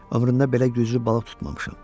Ömrümdə belə güclü balıq tutmamışam.